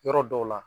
Yɔrɔ dɔw la